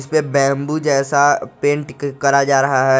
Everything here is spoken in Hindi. बैंबू जैसा पेंट करा जा रहा है।